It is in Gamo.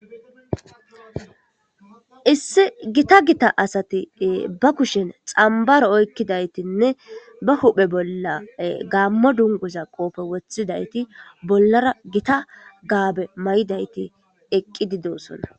Issi gita gita asati ba kushen xambaro oykkidaytinne ba huphe bolla gaammo dunguza qoope wothidayti bollara gita gaabe mayidayti eqqi dosona.